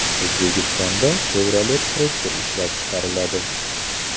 O‘zbekistonda Chevrolet Tracker ishlab chiqariladi .